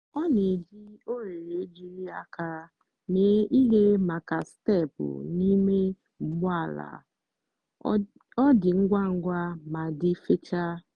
ọ na-eji oghere ejiri aka mee ihe maka steepụ na ime ụgbọ ala - ọ dị ngwa ngwa ma dị fechaa.